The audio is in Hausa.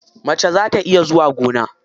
Mace za ta iya zuwa gona.